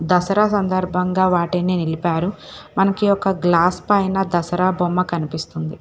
దసరా సందర్భంగా వాటిని నిలిపారు మనకి ఒక గ్లాస్ పైన దసరా బొమ్మ కనిపిస్తుంది.